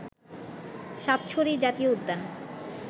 সাতছড়ি জাতীয় উদ্যান